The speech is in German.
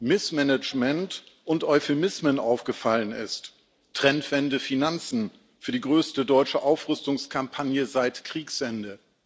Missmanagement und Euphemismen aufgefallen ist, wie Trendwende Finanzen für die größte deutsche Aufrüstungskampagne seit Kriegsende.